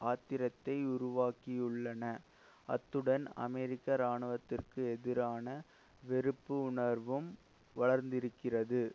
ஆத்திரத்தை உருவாக்கியுள்ளன அத்துடன் அமெரிக்க இராணுவத்திற்கு எதிரான வெறுப்பு உணர்வும் வளர்ந்திருக்கிறது